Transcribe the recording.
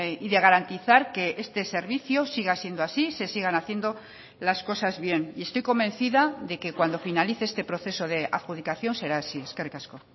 y de garantizar que este servicio siga siendo así se sigan haciendo las cosas bien y estoy convencida de que cuando finalice este proceso de adjudicación será así eskerrik asko